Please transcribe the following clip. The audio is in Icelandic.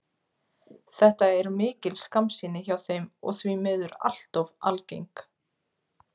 Þetta er mikil skammsýni hjá þeim og því miður allt of algeng.